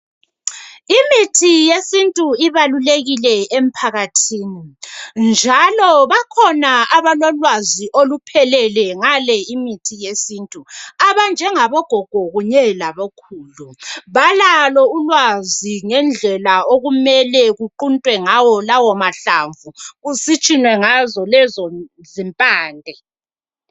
Imithi yesintu ibalulekile emphakathini .Njalo bakhona abalolwazi oluphelele ngale imithi yesintu .Abanjengabo gogo kunye labokhulu balalo ulwazi ngendlela okumele kuquntwe ngawo lawo mahlamvu kusitshunwe ngazo lezo zimpande .